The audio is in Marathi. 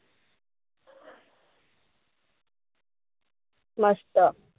मस्त.